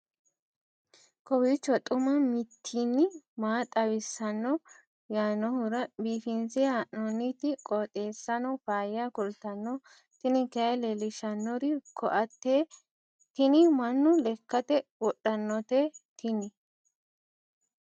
kowiicho xuma mtini maa xawissanno yaannohura biifinse haa'noonniti qooxeessano faayya kultanno tini kayi leellishshannori koate tini mannu lekkate wodhannote tini